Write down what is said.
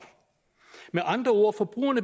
med andre ord